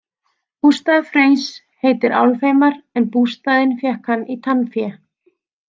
Bústaður Freys heitir Álfheimar en bústaðinn fékk hann í tannfé.